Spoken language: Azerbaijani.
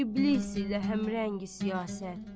İblis ilə həmrəng siyasət.